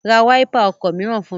Ra wáípà ọkọ̀ mìíràn fún mi!